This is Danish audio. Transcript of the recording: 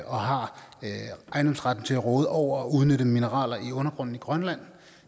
og har ejendomsretten til at råde over og udnytte mineraler i undergrunden i grønland